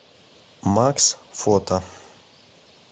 макс фото